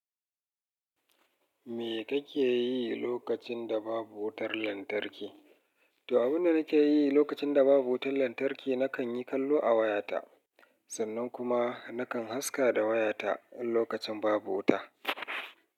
Me kake yi lokacin da babu wutar lantarki? To abunda nake yi lokacin da babu wutar lantarki. Nakan yi kallo a wayata, sannan kuma nakan haska da wayata in lokacin babu wuta.